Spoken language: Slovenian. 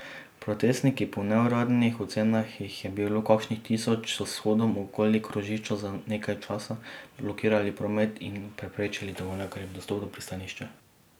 Protestniki, po neuradnih ocenah jih je bilo kakšnih tisoč, so s shodom okoli krožišča za nekaj časa blokirali promet in preprečili tovornjakarjem dostop do pristanišča.